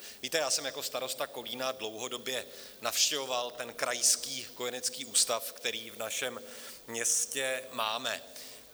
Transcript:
Víte, já jsem jako starosta Kolína dlouhodobě navštěvoval ten Krajský kojenecký ústav, který v našem městě máme.